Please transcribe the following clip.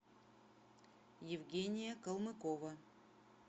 евгения калмыкова